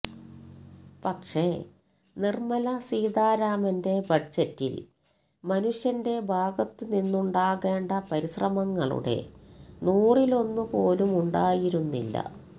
പക്ഷെ നിര്മല സീതാരാമന്റെ ബജറ്റില് മനുഷ്യന്റെ ഭാഗത്തു നിന്നുണ്ടാകേണ്ട പരിശ്രമങ്ങളുടെ നൂറിലൊന്നു പോലുമുണ്ടായിരുന്നില്ല